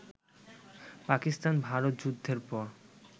পাকিস্তান ভারত যুদ্ধের পর